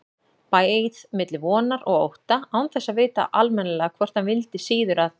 Beið milli vonar og ótta, án þess að vita almennilega hvort hann vildi síður að